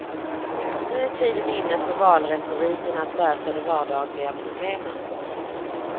Nu är tiden inne för valretoriken att lösa de vardagliga problemen.